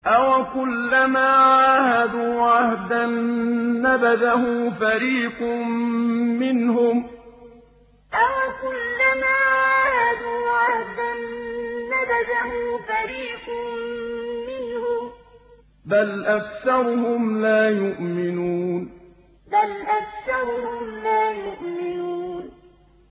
أَوَكُلَّمَا عَاهَدُوا عَهْدًا نَّبَذَهُ فَرِيقٌ مِّنْهُم ۚ بَلْ أَكْثَرُهُمْ لَا يُؤْمِنُونَ أَوَكُلَّمَا عَاهَدُوا عَهْدًا نَّبَذَهُ فَرِيقٌ مِّنْهُم ۚ بَلْ أَكْثَرُهُمْ لَا يُؤْمِنُونَ